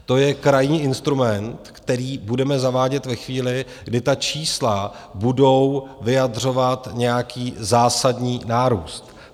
To je krajní instrument, který budeme zavádět ve chvíli, kdy ta čísla budou vyjadřovat nějaký zásadní nárůst.